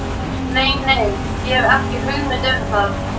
Nei, nei, ég hef ekki hugmynd um það.